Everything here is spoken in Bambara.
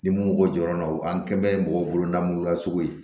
Ni mun ko jɔyɔrɔ an kɛbɛn ye mɔgɔw bololamurula sugu ye